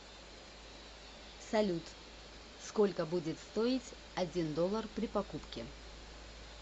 салют сколько будет стоить один доллар при покупке